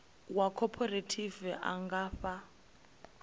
wa khophorethivi a nga fha